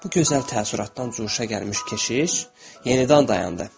Bu gözəl təəssüratdan curuşa gəlmiş keşiş yenidən dayandı.